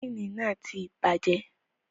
Ẹ́njìnì ti bàjẹ́.